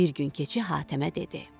Bir gün keçi Hatəmə dedi.